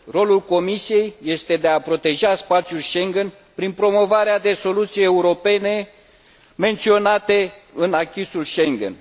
Rolul Comisiei este de a proteja spațiul Schengen prin promovarea de soluții europene menționate în acquis ul Schengen.